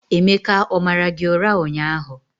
Emeka o mara gị ụra ụnyahụ?